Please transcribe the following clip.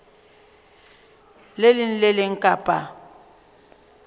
leng le le leng kapa